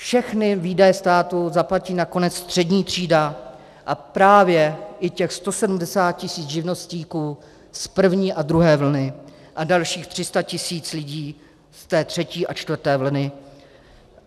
Všechny výdaje státu zaplatí nakonec střední třída a právě i těch 170 tisíc živnostníků z první a druhé vlny a dalších 300 tisíc lidí v té třetí a čtvrté vlně.